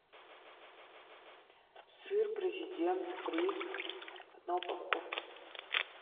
сыр президент бри одна упаковка